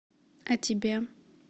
а тебе